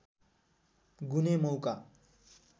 गुने मौका